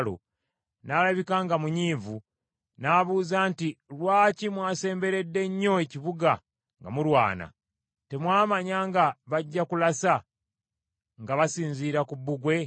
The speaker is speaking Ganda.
n’alabika nga munyiivu, n’abuuza nti, ‘Lwaki mwasemberedde nnyo ekibuga nga mulwana? Temwamanya nga bajja kulasa nga basinziira ku Bbugwe?